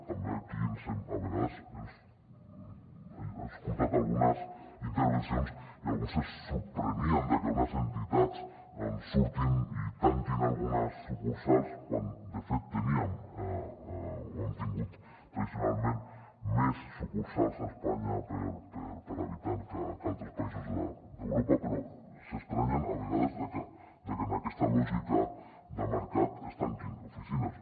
també aquí a vegades hem escoltat algunes intervencions i alguns se sorprenien de que unes entitats surtin i tanquin algunes sucursals quan de fet teníem o hem tingut tradicionalment més sucursals a espanya per habitant que altres països d’europa però s’estranyen a vegades de que en aquesta lògica de mercat es tanquin oficines